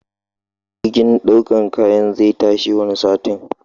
Jirgin ɗaukan kayan zai tashi wani satin.